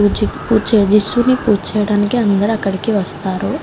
పూజచేయడానికి అందరూ అక్కడికి వస్తారు.